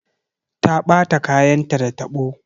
Ta ɓata kayanta da tabo.